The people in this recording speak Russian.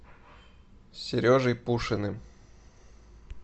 сережей пушиным